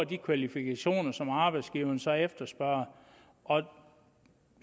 de kvalifikationer som arbejdsgiverne så efterspørger og